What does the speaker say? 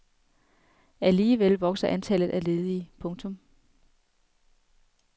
Alligevel vokser antallet af ledige. punktum